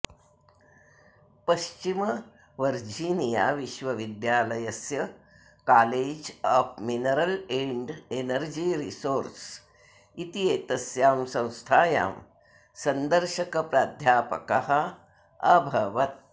पश्चिमवर्जिनिया विश्वविद्यालयस्य college of mineral and energy resource इत्येतस्यां संस्थायां सन्दर्शकप्राध्यापकः अभवत्